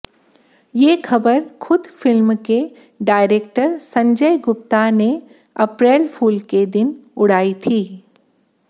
ये खबर खुद फिल्म के डायरेक्टर संजय गुप्ता ने अप्रैल फूल के दिन उड़ाई थी